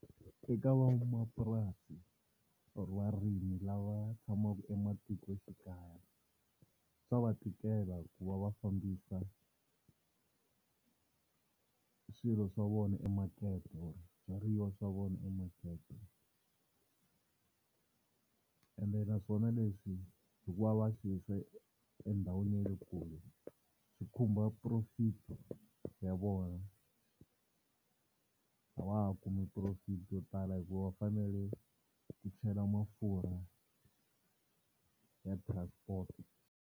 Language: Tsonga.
Eka van'wamapurasi or varimi lava tshamaka ematikoxikaya swa va tikela ku va va fambisa swilo swa vona emakete or swibyariwa swa vona emakete, ende naswona leswi hikuva va swi yisa endhawini ya le kule swi khumba profit ya vona a va ha kumi profit yo tala hikuva va fanele ku chela mafurha ya transport.